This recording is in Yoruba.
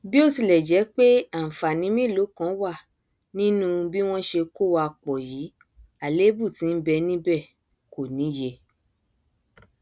bí ó tilẹ jẹ pé ànfàní mélòókan wà nínú bí wọn ṣe kó wa pọ yìí àlébù tí nbẹ níbẹ kò níye